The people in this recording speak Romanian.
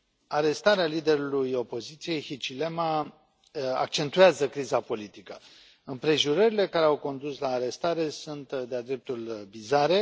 Arestarea liderului opoziției, Hichilema, accentuează criza politică. Împrejurările care au condus la arestare sunt de a dreptul bizare.